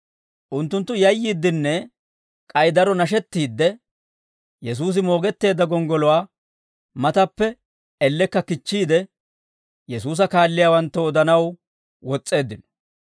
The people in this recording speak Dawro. Unttunttu yayyiiddinne k'ay daro nashettiidde, Yesuusi moogetteedda gonggoluwaa matappe ellekka kichchiide, Yesuusa kaalliyaawanttoo odanaw wos's'eeddino.